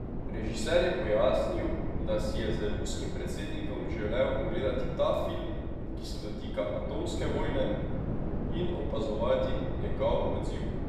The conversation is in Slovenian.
Režiser je pojasnil, da si je z ruskim predsednikom želel ogledati ta film, ki se dotika atomske vojne, in opazovati njegov odziv.